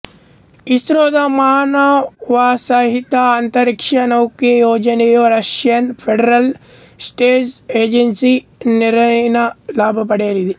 ಇಸ್ರೊದ ಮಾನವಸಹಿತ ಅಂತರಿಕ್ಷ ನೌಕೆ ಯೋಜನೆಯು ರಷ್ಯಯನ್ ಫೆಡೆರಲ್ ಸ್ಪೇಸ್ ಏಜೆನ್ಸಿ ನೆರವಿನ ಲಾಭ ಪಡೆಯಲಿದೆ